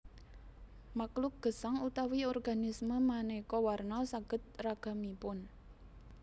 Makluk gesang utawi organisme manéka warna sanget ragamipun